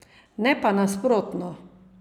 Ne pa nasprotno!